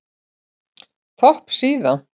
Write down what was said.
Topp síða